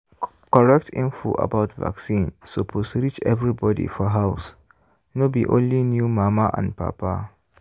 correct info about vaccine suppose reach everybody for house no be only new mama and papa.